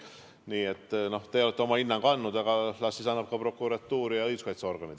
Nii et te olete oma hinnangu andnud, aga las siis annavad selle ka prokuratuur ja õiguskaitseorganid.